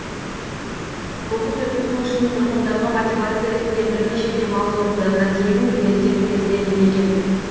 қоқыс өткізу үшін тұрғындарға мотивация ретінде бірнеше демалыс орындарына тегін билеттер беріледі екен